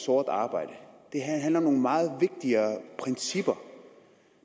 sort arbejde det her handler om nogle meget vigtigere principper